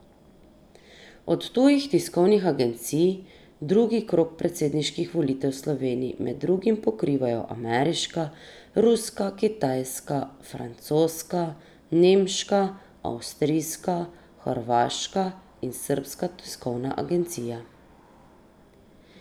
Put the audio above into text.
Od tujih tiskovnih agencij drugi krog predsedniških volitev v Sloveniji med drugim pokrivajo ameriška, ruska, kitajska, francoska, nemška, avstrijska, hrvaška in srbska tiskovna agencija.